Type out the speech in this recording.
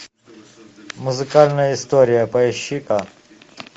музыкальная история поищи ка